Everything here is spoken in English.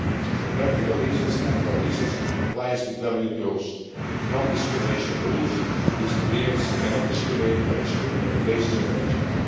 For practical reasons, and for reasons of compliance with WTO's non discrimination rules, these agreements cannot discriminate or exclude on the basis of origin.